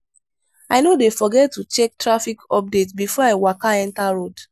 i no dey forget to check traffic update before i waka enta road.